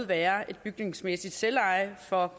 være et bygningsmæssigt selveje for